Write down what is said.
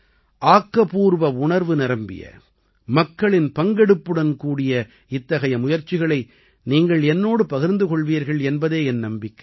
ஆக்கப்பூர்வ உணர்வு நிரம்பிய மக்களின் பங்கெடுப்புடன் கூடிய இத்தகைய முயற்சிகளை நீங்கள் என்னோடு பகிர்ந்து கொள்வீர்கள் என்பதே என் நம்பிக்கை